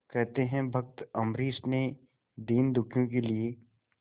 कहते हैं भक्त अम्बरीश ने दीनदुखियों के लिए